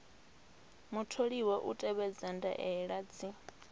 mutholiwa u tevhedza ndaela dzi